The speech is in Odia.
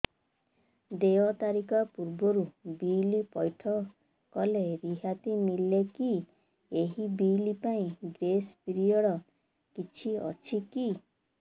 ଦେୟ ତାରିଖ ପୂର୍ବରୁ ବିଲ୍ ପୈଠ କଲେ ରିହାତି ମିଲେକି ଏହି ବିଲ୍ ପାଇଁ ଗ୍ରେସ୍ ପିରିୟଡ଼ କିଛି ଅଛିକି